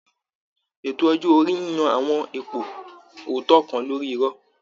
Ètò ọjọ́ orí ń yan àwọn ipò ọ̀tọ̀ kan lórí irọ̀